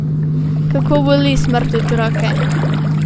Kako boli smrt otroka!